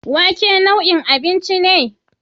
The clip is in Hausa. Wake wane nau'in abinci ne?